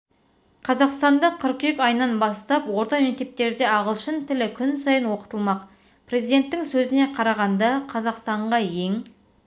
қырғызстанда қыркүйек айынан бастап орта мектептерде ағылшын тілі күн сайын оқытылмақ президенттің сөзіне қарағанда қырғызстанға ең